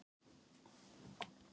Öll olíufélög hafa hækkað